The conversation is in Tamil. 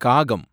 காகம்